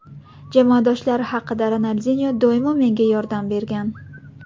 Jamoadoshlari haqida Ronaldinyo doimo menga yordam bergan.